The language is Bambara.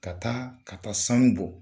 Ka taa ka taa sanu bɔ